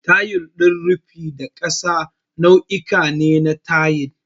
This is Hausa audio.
Tayil din rufi da na ƙasa nau'uka ne na tayil.